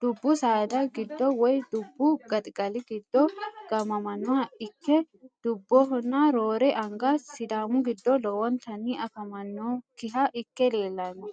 dubbu saada giddo woyi dubbu gaxigali giddo gaamamanoha ikke dubohonna roore anga sidaamu giddo lowontani afamanokiha ike leellano.